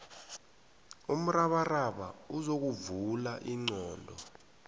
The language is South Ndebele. umrabaraba uzokuvula ingqondo